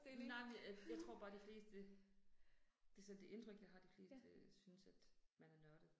Nej men øh jeg tror bare de fleste. Altså det indtryk jeg har af de fleste synes at man er nørdet